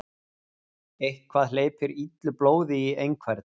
Eitthvað hleypir illu blóði í einhvern